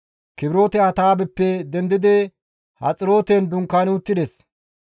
Kibroote-Hatta7aabeppe dendidi Haxirooten dunkaani uttides.